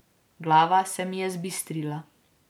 Glava se mi je zbistrila.